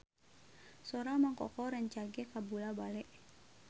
Sora Mang Koko rancage kabula-bale